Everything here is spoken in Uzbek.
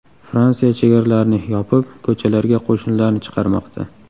Fransiya chegaralarni yopib, ko‘chalarga qo‘shinlarni chiqarmoqda.